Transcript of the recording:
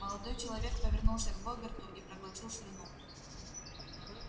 молодой человек повернулся к богерту и проглотил слюну